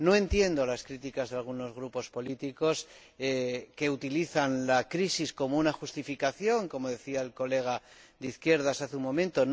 No entiendo las críticas de algunos grupos políticos que utilizan la crisis como una justificación, como decía el colega de izquierdas hace un momento.